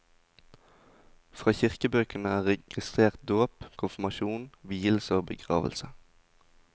Fra kirkebøkene er registrert dåp, konfirmasjon, vielse og begravelse.